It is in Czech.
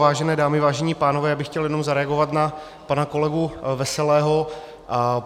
Vážené dámy, vážení pánové, já bych chtěl jenom zareagovat na pana kolegu Veselého.